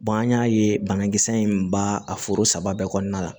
an y'a ye banakisɛ in ba a foro saba bɛɛ kɔɔna la